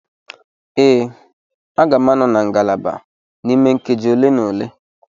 Ee, m ga-anọ na ngalaba n'ime nkeji ole na ole.